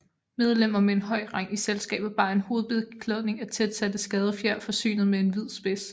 Medlemmer med en høj rang i selskabet bar en hovedbeklædning af tætsatte skadefjer forsynet med en hvid spids